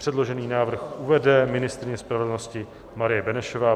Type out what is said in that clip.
Předložený návrh uvede ministryně spravedlnosti Marie Benešová.